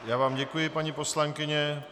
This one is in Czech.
Já vám děkuji, paní poslankyně.